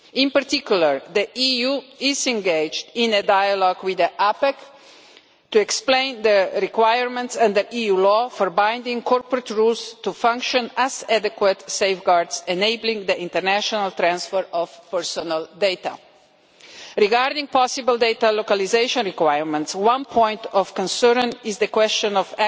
In particular, the EU is engaged in a dialogue with APEC to explain the requirements under EU law for binding corporate rules to function as adequate safeguards enabling the international transfer of personal data. Regarding possible data localisation requirements, one point of concern is the question of